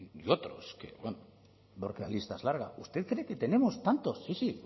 y otros que bueno porque la lista es larga usted cree que tenemos tantos sí sí